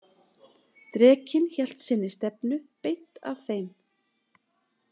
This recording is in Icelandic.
Drekinn hélt sinni stefnu beint að þeim.